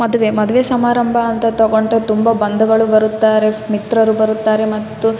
ಈ ಚಿತ್ರಾ ನೋಡಬಹುದಾದ್ರೆ ಇಲ್ಲಿ ವಂದು ವಿವಾಹ ನಡೀತಾಯಿದೆ. ಇಲ್ಲಿ ತುಂಬಾ ತರಹದ ಅಲಂಕಾರಿಸಿದ್ದಾರೆ.